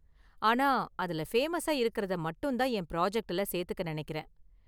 ஆனா அதுல ஃபேமஸா இருக்கறத மட்டும் தான் என் பிராஜெக்ட்டுல சேர்த்துக்க நெனைக்கிறேன்.